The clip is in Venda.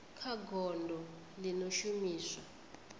kha gondo ḽi no shumiswa